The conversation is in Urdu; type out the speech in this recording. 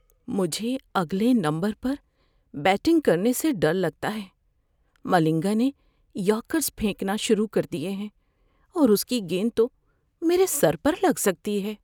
مجھے اگلے نمبرپر بیٹنگ کرنے سے ڈر لگتا ہے۔ ملنگا نے یارکرز پھینکنا شروع کر دیے ہیں اور اس کی گیند تو میرے سر پر لگ سکتی ہے۔